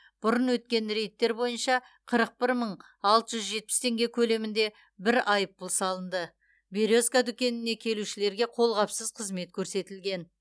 бұрын өткен рейдтер бойынша қырық бір мың алты жүз жетпіс теңге көлемінде бір айыппұл салынды березка дүкенінде келушілерге қолғапсыз қызмет көрсетілген